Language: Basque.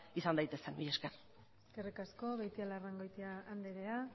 izan daitezen mila esker eskerrik asko beitialarrangoitia andrea